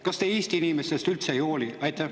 Kas te Eesti inimestest üldse ei hooli?